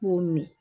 N b'o min